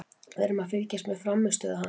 Við erum að fylgjast með frammistöðu hans.